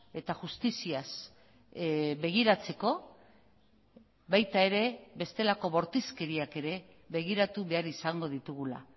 eta justiziaz begiratzeko baita ere bestelako bortizkeriak ere begiratu behar izango ditugula